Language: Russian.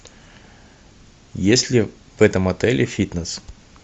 есть ли в этом отеле фитнес